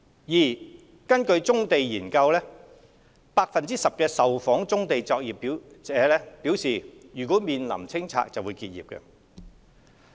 二根據《棕地研究》，10% 受訪棕地作業者表示若面臨清拆會結業。